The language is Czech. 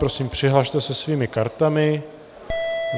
Prosím, přihlaste se svými kartami.